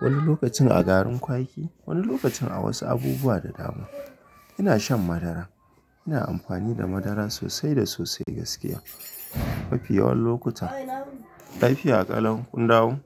wani lokacin a garin kwaki, wani lokacin a wasu abubuwa da dama. Ina shan madara. Ina amfani da madara sosai da sosai gaskiya mafi yawan lokuta. Lafiya kalau kun dawo?